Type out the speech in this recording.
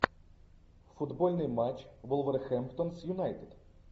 футбольный матч вулверхэмптон с юнайтед